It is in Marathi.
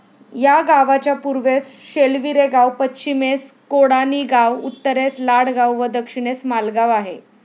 या गावाच्या पूर्वेस शेलवीरेगाव, पश्चिमेस कोडाणीगाव, उत्तरेस लाडगाव व दक्षिणेस मालगाव आहे.